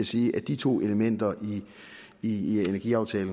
sige at de to elementer i energiaftale